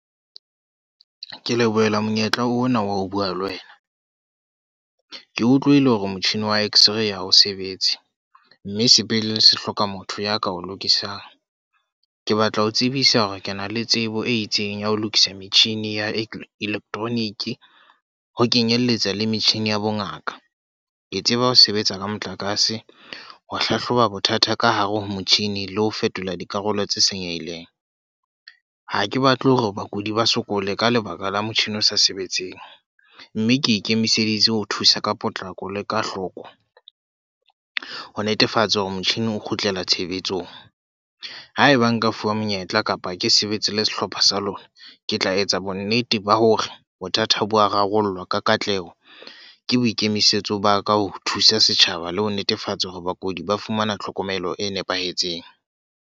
Ke lebohela monyetla ona wa ho bua le wena. Ke utlwile hore motjhini wa X-Ray ha o sebetse. Mme sepetlele se hloka motho ya ka o lokisang. Ke batla ho o tsebisa hore ke na le tsebo e itseng ya ho lokisa metjhini ya electronic ho kenyelletsa le metjhini ya bo ngaka. Ke tseba ho sebetsa ka motlakase, ho hlahloba bothata ka hare ho motjhini le ho fetola dikarolo tse senyehileng. Ha ke batle hore bakudi ba sokole ka lebaka la motjhini o sa sebetseng. Mme ke ikemiseditse ho thusa ka potlako le ka hloko, ho netefatsa hore motjhini o kgutlela tshebetsong. Haeba nka fuwa monyetla kapa ke sebetse le sehlopha sa lona, ke tla etsa bonnete ba hore bothata bo wa rarollwa ka katleho. Ke boikemisetso ba ka ho thusa setjhaba le ho netefatsa hore bakudi ba fumana tlhokomelo e nepahetseng.